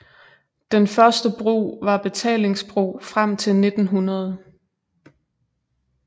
Den første bro var betalingsbro frem til 1900